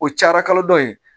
O cayara kalo dɔ ye